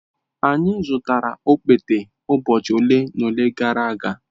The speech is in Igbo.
Anyị zụtara okpete ụbọchị ole na ole gara aga.